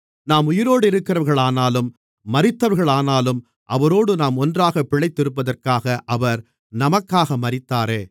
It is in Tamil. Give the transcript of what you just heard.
நாம் உயிரோடிருக்கிறவர்களானாலும் மரித்தவர்களானாலும் அவரோடு நாம் ஒன்றாகப் பிழைத்திருப்பதற்காக அவர் நமக்காக மரித்தாரே